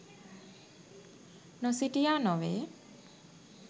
නොසිටියා නොවේ.